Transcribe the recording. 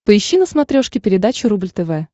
поищи на смотрешке передачу рубль тв